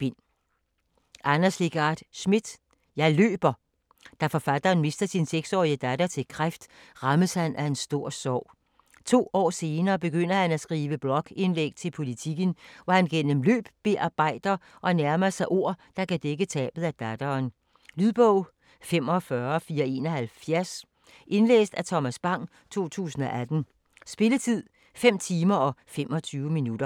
Schmidt, Anders Legarth: Jeg løber Da forfatteren mister sin 6-årige datter til kræft, rammes han af en stor sorg. To år senere begynder han at skrive blogindlæg til Politiken, om hvordan han gennem løb bearbejder og nærmer sig ord, der kan dække tabet af datteren. Lydbog 45471 Indlæst af Thomas Bang, 2018. Spilletid: 5 timer, 25 minutter.